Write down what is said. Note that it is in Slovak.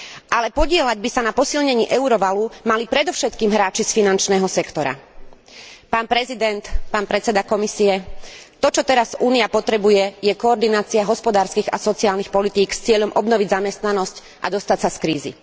Ale podieľať by sa na posilnení eurovalu mali predovšetkým hráči z finančného sektora. Pán prezident, pán predseda Komisie, to čo teraz Únia potrebuje, je koordinácia hospodárskych a sociálnych politík s cieľom obnoviť zamestnanosť a dostať sa z krízy.